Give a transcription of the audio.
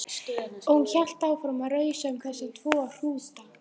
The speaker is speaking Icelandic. Og hún hélt áfram að rausa um þessa tvo hrúta.